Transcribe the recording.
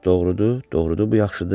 Doğrudur, doğrudur, bu yaxşıdır.